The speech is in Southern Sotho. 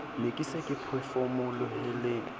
ne ke se ke phefomolohela